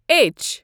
H